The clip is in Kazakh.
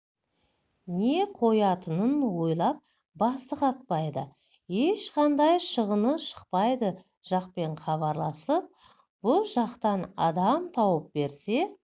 не қоятынын ойлап басы қатпайды ешқандай шығыны шықпайды жақпен хабарласып бұ жақтан адам тауып берсе